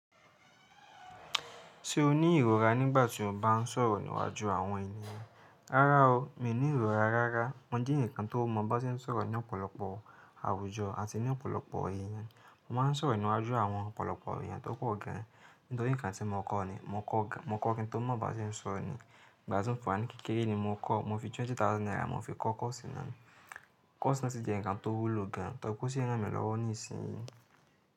Ṣé o ní ìrora nígbà tí o bá ń sọ̀rọ̀ níwájú àwọn ènìyàn? Rárá o, mi ní ìrora rárá. Mo jẹ èèyàn kan tó mọ̀ bá ṣe ń sọ̀rọ̀ ní ọ̀pọ̀lọpọ̀ àwùjọ àti ní ọ̀pọ̀lọpọ̀ èèyàn. Mo máa ń sọ̀rọ̀ níwájú àwọn ọ̀pọ̀lọpọ̀ èèyàn tó pọ̀ gan, nítorí ǹkan tí mo kọ́ ni, mo kọ́ gan. Mo kọ́ kín tó mọ̀ bá ṣe ń sọ̀rọ̀ ni. Ìgbà tí ń fún àìní kékeré ni mo kọ́, mo fi twenty thousand naira mo fi kọ́ kọ́ọ̀sì náà ni. Kọ́ọ̀sì náà sì jẹ́ ǹkan tó wúlò gan, tọ́kù sí i ran mi lọ́wọ́ nísinsìnyí.